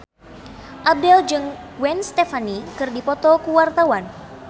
Abdel jeung Gwen Stefani keur dipoto ku wartawan